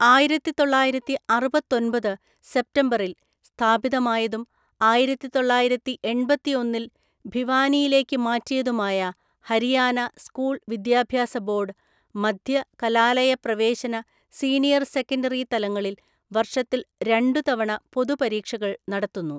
ആയിരത്തിതൊള്ളായിരത്തിഅറുപത്തൊന്‍പത് സെപ്റ്റംബറിൽ സ്ഥാപിതമായതും ആയിരത്തിതൊള്ളായിരത്തി എണ്‍പത്തിഒന്നില്‍ ഭിവാനിയിലേക്ക് മാറ്റിയതുമായ ഹരിയാന സ്കൂൾ വിദ്യാഭ്യാസ ബോർഡ്, മദ്ധ്യ, കലാലയപ്രവേശന, സീനിയർ സെക്കൻഡറി തലങ്ങളിൽ വർഷത്തിൽ രണ്ടുതവണ പൊതു പരീക്ഷകൾ നടത്തുന്നു.